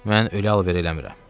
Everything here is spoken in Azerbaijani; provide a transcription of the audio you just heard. Mən ölü alver eləmirəm.